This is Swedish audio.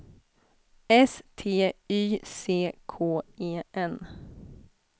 S T Y C K E N